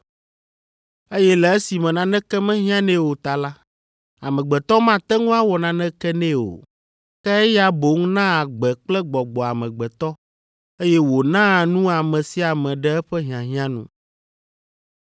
eye le esime naneke mehiãnɛ o ta la, amegbetɔ mate ŋu awɔ naneke nɛ o. Ke eya boŋ naa agbe kple gbɔgbɔ amegbetɔ, eye wònaa nu ame sia ame ɖe eƒe hiahiã nu.